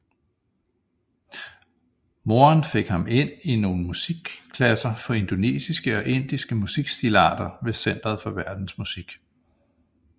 Moderen fik ham ind i nogle musikklasser for indonesiske og indiske musikstilarter ved centeret for verdensmusik